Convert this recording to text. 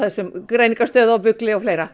Greiningarstöð og Bugli og fleira